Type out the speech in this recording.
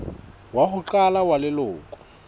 wa ho qala wa leloko